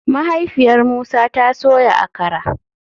Mahaifiyar Musa ta soya Akara